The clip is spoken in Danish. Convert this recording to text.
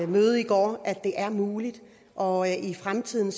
møde i går at det er muligt og i fremtiden